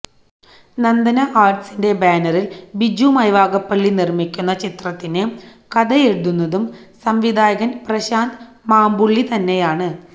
നന്ദന ആര്ട്സിന്റെ ബാനറില് ബിജു മൈവാഗപ്പള്ളി നിര്മിക്കുന്ന ചിത്രത്തിന് കഥയെഴുതുന്നതും സംവിധായകന് പ്രശാന്ത് മാമ്പുള്ളി തന്നെയാണ്